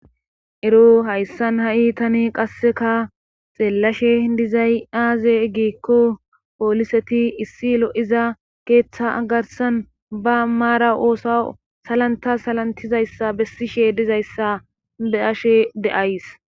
ero hayssan ha7i tani qasseka xeelashe dizay aaze egiikko pooliseti issi lo7iza keeththa agarsan ba maara oosa salanta salantizayssa bessishe dizayssa deashe de7ays